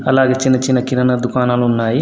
అలాగే చిన్న చిన్న కిరాణా దుకాణాలు ఉన్నాయి.